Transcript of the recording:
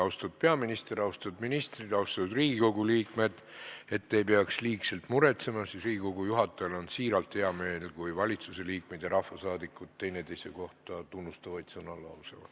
Austatud peaminister, austatud ministrid, austatud Riigikogu liikmed, et te ei peaks liigselt muretsema, siis ütlen, et Riigikogu juhatajal on siiralt hea meel, kui valitsusliikmed ja rahvasaadikud üksteise kohta tunnustavaid sõnu lausuvad.